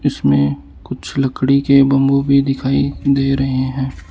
इसमें में कुछ लकड़ी के बंबू भी दिखाइ दे रहे हैं।